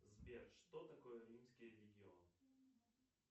сбер что такое римский легион